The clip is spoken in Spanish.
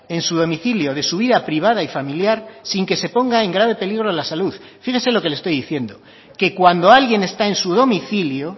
en su domicilio de su vida privada y familiar sin que se ponga en grave peligro la salud fíjese lo que le estoy diciendo que cuando alguien está en su domicilio